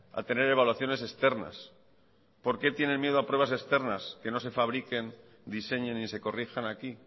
a tener evaluaciones externas por qué tienen miedo a pruebas externas que no se fabriquen diseñen y se corrijan aquí